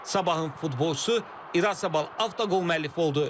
Sabahın futbolçusu İraçabal avtoqol müəllifi oldu.